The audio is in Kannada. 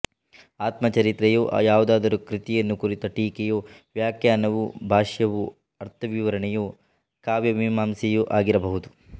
ಆತ್ಮಚರಿತೆಯೋ ಯಾವುದಾದರೂ ಕೃತಿಯನ್ನು ಕುರಿತ ಟೀಕೆಯೋ ವ್ಯಾಖ್ಯಾನವೋ ಭಾಷ್ಯವೋ ಅರ್ಥವಿವರಣೆಯೋ ಕಾವ್ಯಮೀಮಾಂಸೆಯೋ ಆಗಿರಬಹುದು